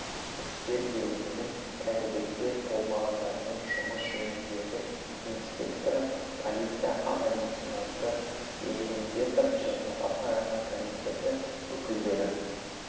істер бөлімінің кәмелетке толмағандармен жұмыс жөніндегі инспекторы полиция аға лейтенанты эримбетова және ата-аналар комитеті өкілдері